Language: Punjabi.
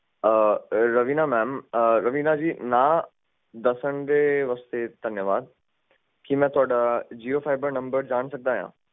ਆਹ ਰਵੀਨਾ ਮੈਮ ਆਹ ਰਵੀਨਾ ਜੀ ਨਾ ਦੱਸਣ ਦੇ ਵਾਸਤੇ ਧੰਨਵਾਦ ਕੀ ਮੈਂ ਤੁਹਾਡਾ ਜੀਓ ਫਾਈਬਰ ਨੰਬਰ ਜਾਣ ਸਕਦਾ?